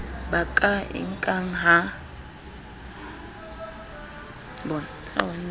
ba ka e nkang ha